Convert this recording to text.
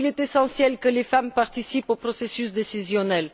Il est essentiel que les femmes participent au processus décisionnel.